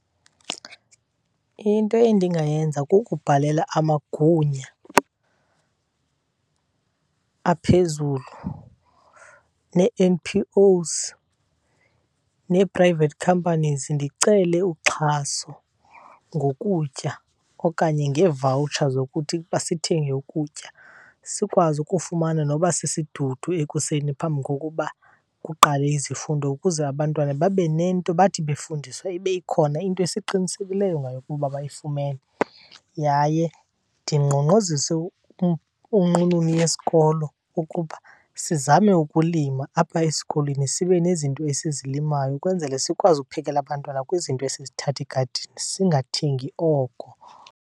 Into endingayenza kukubhalela amagunya aphezulu nee-N_P_Os nee-private companies ndicele uxhaso ngokutya okanye ngee-voucher zokuthi uba sithenge ukutya. Sikwazi ukufumana noba sisidudu ekuseni phambi kokuba kuqale izifundo ukuze abantwana babe nento, bathi befundiswa ibe ikhona into esiqinisekileyo ngayo ukuba bayifumene. Yaye ndingqongqozise unqununu yesikolo ukuba sizame ukulima apha esikolweni, sibe nezinto esizillimayo ukwenzele sikwazi ukuphekela abantwana kwizinto esizithatha egadini singathengi oko.